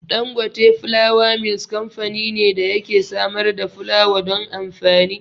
Dangote Flour Mills kamfani ne da yake samar da fulawa don amfani.